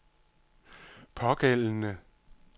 pågældende